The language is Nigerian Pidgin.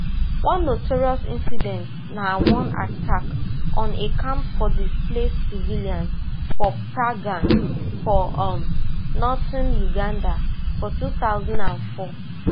one notorious incident na one attack on a camp for displaced civilians for pagak for um northern uganda for two thousand and four